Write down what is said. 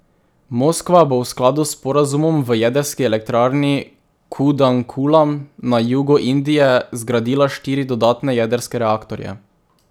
Moskva bo v skladu s sporazumom v jedrski elektrarni Kudankulam na jugu Indije zgradila štiri dodatne jedrske reaktorje.